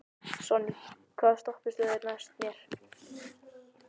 Sonný, hvaða stoppistöð er næst mér?